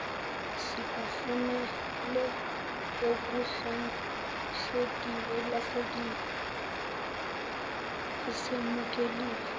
sikufunele okulahlekile asemukeli